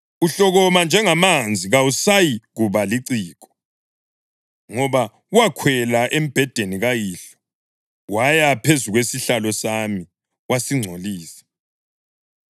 Uhlokoma njengamanzi, kawusayikuba liciko, ngoba wakhwela embhedeni kayihlo, waya phezu kwesihlalo sami wasingcolisa.